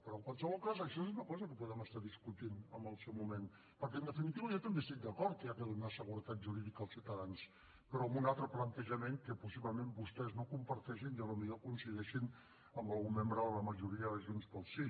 però en qualsevol cas això és una cosa que podem estar discutint en el seu moment perquè en definitiva jo també estic d’acord que s’ha de donar seguretat jurídica als ciutadans però amb un altre plantejament que possiblement vostès no comparteixin i potser coincideixin amb algun membre de la majoria de junts pel sí